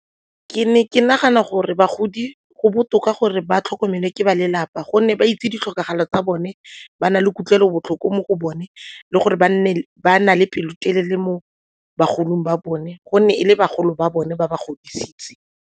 Ke ne ke nagana gore bagodi go botoka gore ba tlhokomele ke ba lelapa gonne ba itse ditlhokego tsa bone, ba na le kutlwelobotlhoko mo go bone le gore ba na le pelotelele mo bagolong ba bone gonne e le bagolo ba bone ba ba godisitse.